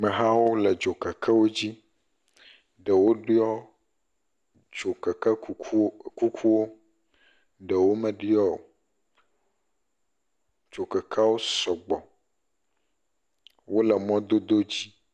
Mehawo le dzokekewo dzi, ɖewo ɖiɔ dzokeke kukuwo, ɖewo me ɖiɔ, dzokekewo sɔgbɔ, wole mɔdodo dzi.